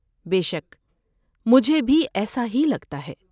بے شک، مجھے بھی ایسا ہی لگتا ہے۔